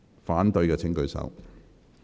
反對的請舉手。